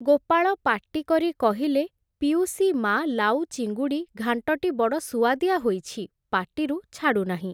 ଗୋପାଳ ପାଟି କରି କହିଲେ, ପିଉସୀ ମା ଲାଉ ଚିଙ୍ଗୁଡ଼ି ଘାଂଟଟି ବଡ଼ ସୁଆଦିଆ ହୋଇଛି, ପାଟିରୁ ଛାଡ଼ୁନାହିଁ ।